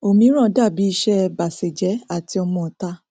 ọmíràn dàbí iṣẹ ẹ bàsèjẹ àti ọmọọta